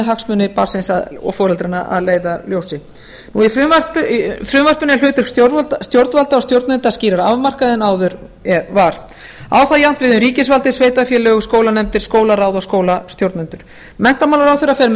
hagsmuni barnsins og foreldranna að leiðarljósi í frumvarpinu er hlutur stjórnvalda og stjórnenda skýrar afmarkaður en áður var á það jafnt við um ríkisvaldið sveitarfélög og skólanefndir skólaráð og skólastjórnendur menntamálaráðherra fer með